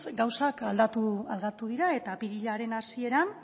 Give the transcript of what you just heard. gauzak aldatu dira eta apirilaren hasieran